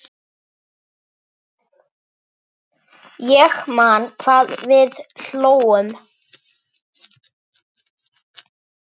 Ég man hvað við hlógum.